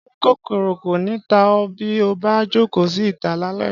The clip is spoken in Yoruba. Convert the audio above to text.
Ṣé kòkòrò kò ní ta ọ́ bí o bá jókòó sí ìta lálẹ́